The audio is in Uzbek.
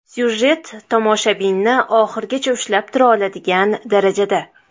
Syujet tomoshabinni oxirigacha ushlab tura oladigan darajada.